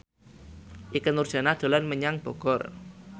Ikke Nurjanah dolan menyang Bogor